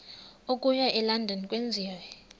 okuya elondon enziwe